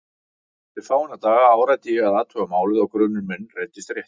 Eftir fáeina daga áræddi ég að athuga málið og grunur minn reyndist réttur.